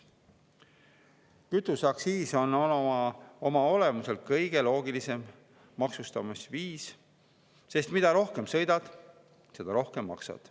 Kütuseaktsiis on oma olemuselt selleks kõige loogilisem maksustamisviis, sest mida rohkem sõidad, seda rohkem maksad.